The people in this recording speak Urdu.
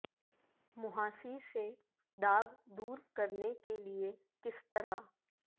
مںہاسی سے داغ دور کرنے کے لئے کس طرح